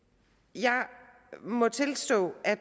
jeg må tilstå at